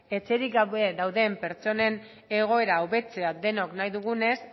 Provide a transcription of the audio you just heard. etxerik gabe dauden pertsonen egoera hobetzea denok nahi dugunez